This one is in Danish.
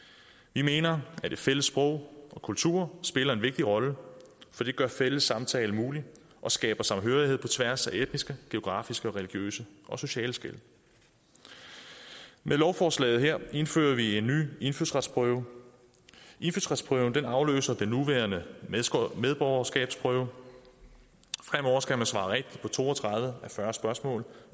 vi mener at et fælles sprog og kultur spiller en vigtig rolle for det gør fælles samtale mulig og skaber samhørighed på tværs af etniske geografiske religiøse og sociale skel med lovforslaget her indfører vi en ny indfødsretsprøve indfødsretsprøven afløser den nuværende medborgerskabsprøve fremover skal man svare rigtigt på to og tredive af fyrre spørgsmål